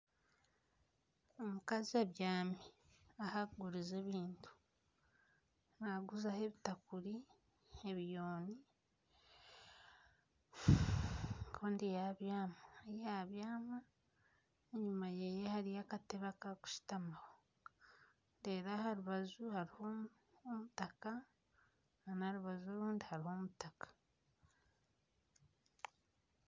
Omukazi abyami ahu arikuguriza ebintu naaguzaho ebitakuri ebiyuuni kandi yabyama ku yabyama enyuma ye hariyo akatebe aku barikushutamaho aha rubaju hariho omutaka nana aha rubaju orundi hariho omutaka